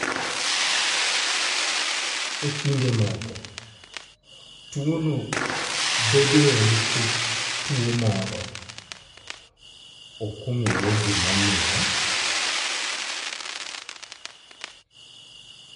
E kinde moko, tuwono bedoe nikech tuwo moro. (ok ong'ere gimomiyo).